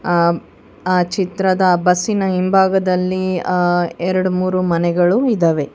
ಅ ಆ ಚಿತ್ರದ ಬಸ್ಸಿನ ಹಿಂಭಾಗದಲ್ಲಿ ಅ ಎರಡು ಮೂರು ಮನೆಗಳು ಇದಾವೆ.